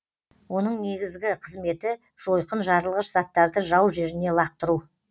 оның негізгі қызметі жойқын жарылғыш заттарды жау жеріне лақтыру